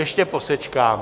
Ještě posečkám...